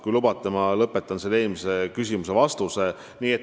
Kui lubate, siis ma lõpetan eelmise küsimuse vastuse.